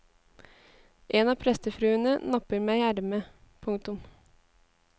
En av prestefruene napper meg i ermet. punktum